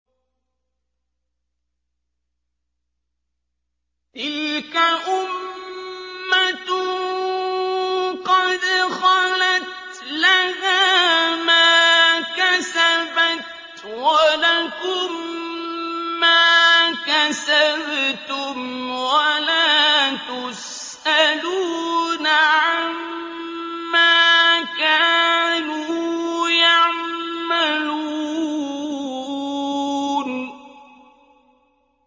تِلْكَ أُمَّةٌ قَدْ خَلَتْ ۖ لَهَا مَا كَسَبَتْ وَلَكُم مَّا كَسَبْتُمْ ۖ وَلَا تُسْأَلُونَ عَمَّا كَانُوا يَعْمَلُونَ